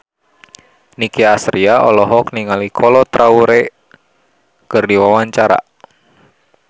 Nicky Astria olohok ningali Kolo Taure keur diwawancara